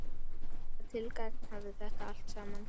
Hvaða tilgang hafði þetta allt saman?